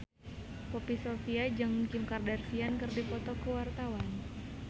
Poppy Sovia jeung Kim Kardashian keur dipoto ku wartawan